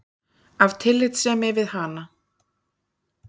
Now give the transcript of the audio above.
Af tillitssemi við hana.